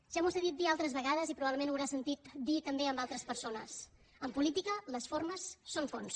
ja m’ho ha sentit dir altres vegades i probablement ho haurà sentit dir també a altres persones en política les formes són fons